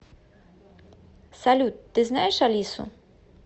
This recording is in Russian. салют ты знаешь алису